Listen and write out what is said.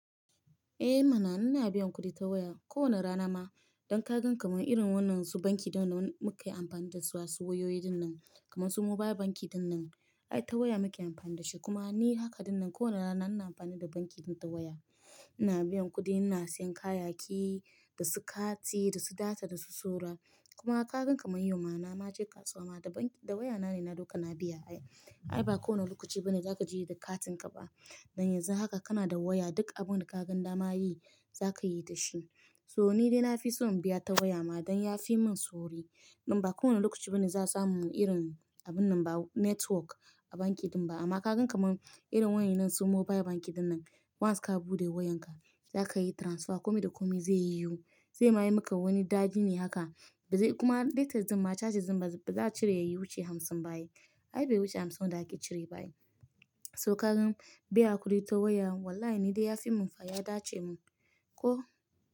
Eh mana! Ina biyan kuɗi ta waya. Ko wane rana ma, idan ka gan kamar irin wannan su banki da mun kai amfani da su, asu wayoyi dinnan, kamar su mobile banki dinnan, ai ta waya muke amfani da shi. Kuma ni haka dinnan ko wane rana ina amfani da banki ɗin ta waya. Ina biyan kuɗi, ina siyan kayayyaki, da su kati, da su data, da su saura. Kuma ka gan kamar yau ma na ma je kasuwa ma da banki, da waya na ne na dauka na biya ai. Ai ba kowane lokaci bane za ka je da katin ka ba. Dan yanzu haka kana da waya duk abun da kaga dama yi za ka yi da shi. So ni dai na fi so in biya ta waya ma don ya fi min sauri. Dan ba kowane lokaci bane za su mun irin abun nan ba network a banki ɗin ba. Amma ka gan kaman irin wayan nan su mobile banki dinnan, once ka buɗe wayan ka, za ka yi transfer. Komi da komi zai yi yu. Zai ma yi maka wani dadi ne haka ba zai-- kuma lates ma charges din ba za a cire ya yi wuce hamsin ba yi. Ai bai wuce hamsin wanba ake cire ba yi. So ka gan biya kuɗi ta waya wallahi ni dai ya fi mun fa ya dace mun. Ko?